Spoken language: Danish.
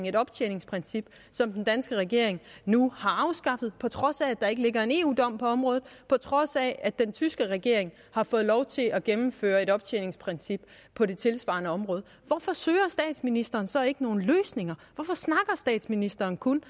et optjeningsprincip som den danske regering nu har afskaffet på trods af at der ikke ligger en eu dom på området på trods af at den tyske regering har fået lov til at indføre et optjeningsprincip på det tilsvarende område hvorfor søger statsministeren så ikke nogen løsninger hvorfor snakker statsministeren kun